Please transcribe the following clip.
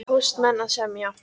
Póstmenn að semja